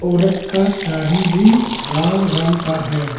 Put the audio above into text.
औरत का साड़ी भी लाल रंग का है।